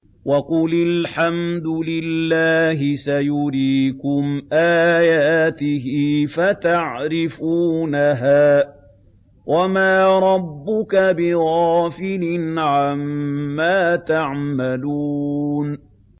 وَقُلِ الْحَمْدُ لِلَّهِ سَيُرِيكُمْ آيَاتِهِ فَتَعْرِفُونَهَا ۚ وَمَا رَبُّكَ بِغَافِلٍ عَمَّا تَعْمَلُونَ